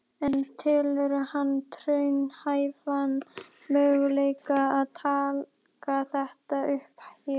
Tónskáldið hressist með hverjum degi sem líður.